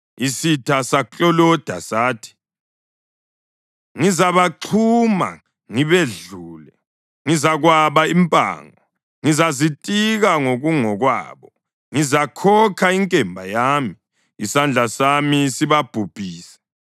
Isitha sakloloda sathi, ‘Ngizabaxhuma, ngibedlule. Ngizakwaba impango; ngizazitika ngokungokwabo. Ngizakhokha inkemba yami, isandla sami sibabhubhise.’